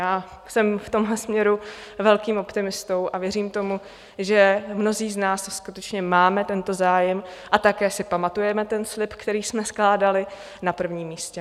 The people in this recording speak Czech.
Já jsem v tomhle směru velkým optimistou a věřím tomu, že mnozí z nás skutečně máme tento zájem - a také si pamatujeme ten slib, který jsme skládali - na prvním místě.